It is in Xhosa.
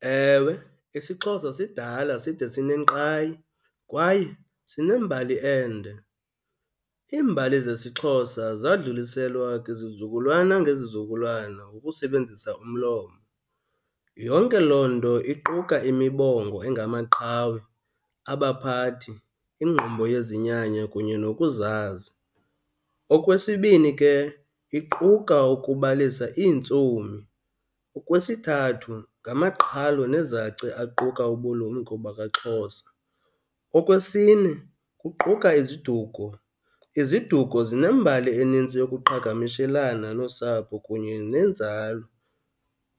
Ewe, isiXhosa sidala side sinenkqayi kwaye sinembali ende. Iimbali zesiXhosa zadluliselwa kwizizukulwana ngezizukulwana ukusebenzisa umlomo. Yonke loo nto iquka imibongo engamaqhawe, abaphathi, ingqumbo yezinyanya kunye nokuzazi. Okwesibini ke, iquka ukubalisa iintsomi. Okwesithathu, ngamaqhalo nezaci aquka ubulumko bakwaXhosa. Okwesine, kuquka iziduko. Iziduko zinembali enintsi yokuqhagamishelana nosapho kunye nenzalo.